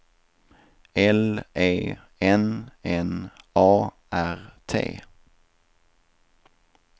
L E N N A R T